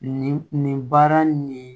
Nin nin nin baara nin